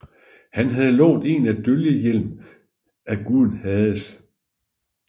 Han havde lånt en dølgehjelm af guden Hades